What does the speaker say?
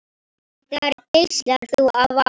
Þar geislar þú af ást.